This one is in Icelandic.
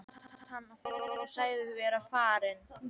Svo spratt hann á fætur og sagðist vera farinn.